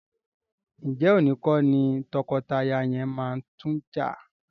Ǹjẹ́ òní kọ́ ni tọkọtaya yẹn máa tún jà?